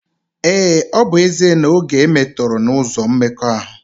Ee, ọ bụ ezie na oge e metọrọ n’ụzọ mmekọahụ